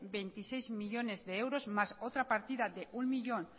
veintiséis millónes de euros más otra partida de un millón